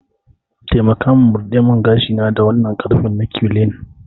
Taimaka min murdemingashina da wannan ƙarfen na curlying.